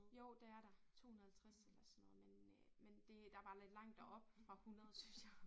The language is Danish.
Jo det er der 250 eller sådan noget men øh men det der bare der lidt langt derop fra 100 synes jeg